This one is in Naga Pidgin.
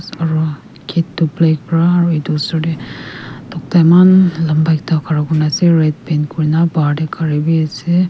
aro gate toh black pra aro edu osor tae tokta eman lamba ekta khara kurna ase red paint kurna bahar tae gari biase.